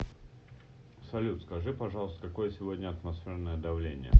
салют скажи пожалуйста какое сегодня атмосферное давление